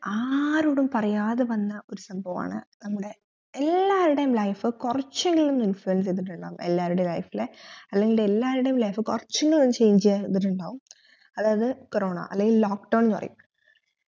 ആരോടും പറയാതെ വന്ന ഒരു സംഭവമാണ് നമ്മെടെ എല്ലാരുടെയും life കൊർച്ചെങ്കിലും influence ച്യ്തിട്ടുണ്ടാകും എല്ലാരുടെ life ഇൽ അല്ലെങ്കിൽ എല്ലാരുടെ life കൊർച്ചെങ്കിലും change യ്തതിണ്ടഉം അതായത് corona അല്ലെങ്കിൽ lock down എന്നപറയും